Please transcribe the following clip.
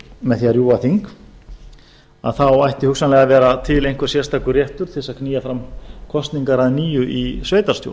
með því að rjúfa þing að þá ætti hugsanlega að vera til einhver sérstakur réttur til þess að knýja fram kosningar að nýju í sveitarstjórn